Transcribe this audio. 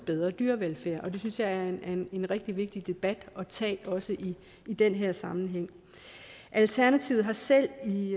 bedre dyrevelfærd det synes jeg er en en rigtig vigtig debat at tage også i den her sammenhæng alternativet har selv i